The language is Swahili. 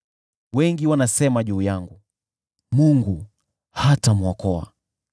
Wengi wanasema juu yangu, “Mungu hatamwokoa.”